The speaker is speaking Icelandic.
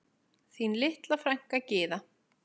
Þín litla frænka Gyða.